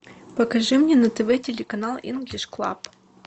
покажи мне на тв телеканал инглиш клаб